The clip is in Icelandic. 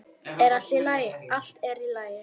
Allt er í lagi.